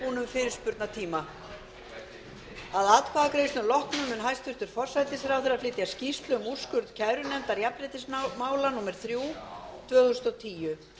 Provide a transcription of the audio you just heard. fyrirspurnatíma að atkvæðagreiðslum loknum mun hæstvirtur forsætisráðherra flytja skýrslu um úrskurð kærunefndar jafnréttismála númer þrjú tvö þúsund og tíu